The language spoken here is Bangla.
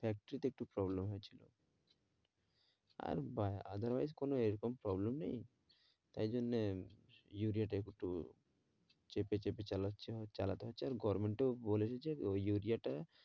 Factory তে একটু problem হয়েছিল আর other wise কোনো এরকম problem নেই তাই জন্যে ইউরিয়াটা একটু চেপে চেপে চালাছে চালাতে হচ্ছে আর goverment ও বলেছে যে ওই ইউরিয়াটা